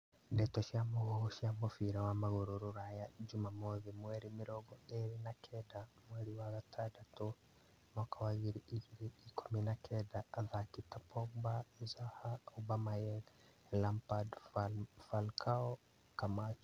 Ndeto cia mũhuhu cia mũbira wa magũrũ Rũraya juma mothi mweri mĩrongo ĩrĩ na kenda mweri wa gatandatũ mwaka wa ngiri igĩrĩ ikũmi na kenda athaki ta Pogba, Zaha, Aubemayang, Lampard, Falcao, Camacho